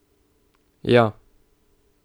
Ja.